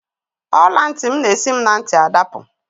Ọla ntị m na-esi m na ntị adapụ.